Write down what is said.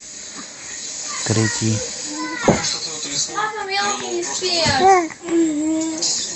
третий